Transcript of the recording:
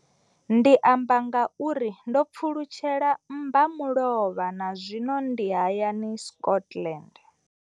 Ndi amba ngauralo nga uri ndo pfulutshela mmbamulovha na zwino ndi hayani, Scotland.